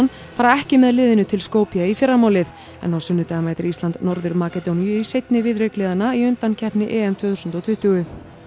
fara ekki með liðinu til Skopje í fyrramálið en á sunnudag mætir Ísland Norður Makedóníu í seinni viðureign liðanna í undankeppni EM tvö þúsund og tuttugu